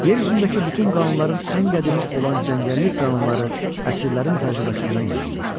Yer üzündəki bütün qanunların ən qədimi olan cəngəllik qanunları əsrlərin təcrübəsindən yaranmışdı.